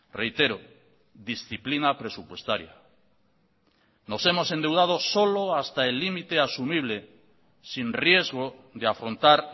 reitero disciplina presupuestaria nos hemos endeudado solo hasta el límite asumible sin riesgo de afrontar